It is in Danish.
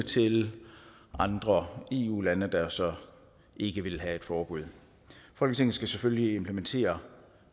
til andre eu lande der så ikke ville have et forbud folketinget skal selvfølgelig implementere